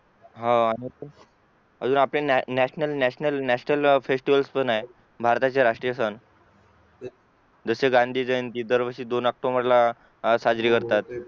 होव अजून आपले NATIONAL FESTIVALS पण आहेत भारताचे राष्ट्रीय सण जसे गांधी जयंती दरवर्षी दोन OCTOMBER ला साजरी करतात